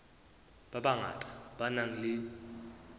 ba bangata ba nang le